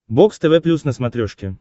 бокс тв плюс на смотрешке